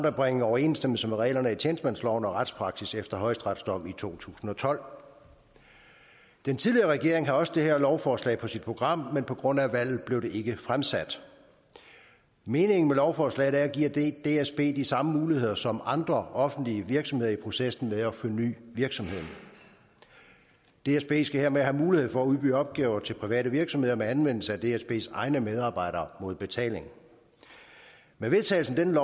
at bringe overensstemmelse mellem reglerne i tjenestemandsloven og retspraksis efter højesterets dom i to tusind og tolv den tidligere regering havde også det her lovforslag på sit program men på grund af valget blev det ikke fremsat meningen med lovforslaget er at give dsb de samme muligheder som andre offentlige virksomheder i processen med at forny virksomheden dsb skal hermed have mulighed for at udbyde opgaver til private virksomheder med anvendelse af dsbs egne medarbejdere mod betaling med vedtagelsen af dette